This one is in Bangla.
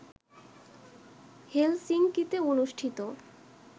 হেলসিংকিতে অনুষ্ঠিত